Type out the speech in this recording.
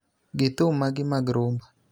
gi thum maggi mag rhumba.